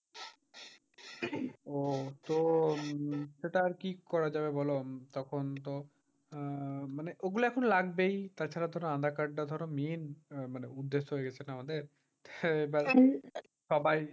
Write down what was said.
ও তো এটা আরকি করা যাবে বল? তখন তো আহ মানে ওগুলো এখন লাগবেই। তাছাড়া তো আধার-কার্ডটা ধর main মানে আহ উদ্দেশ্যে গেছে না আমাদের?